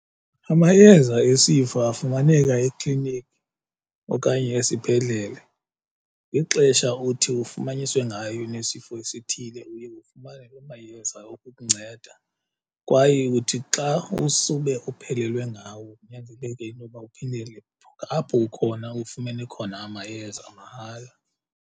Amayeza esifo afumaneka ekliniki okanye esibhedlele ngexesha uthi ufumaniswe ngayo unesifo esithile uye ufumane loo mayeza okukunceda, kwaye uthi xa usube uphelelwe ngawo kunyanzeleke intoba uphindele apho ukhona ufumene khona amayeza mahala.